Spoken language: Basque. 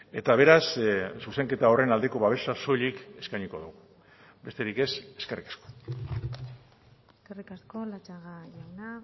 eta beraz zuzenketa horren aldeko babesa soilik eskainiko dugu besterik ez eskerrik asko eskerrik asko latxaga jauna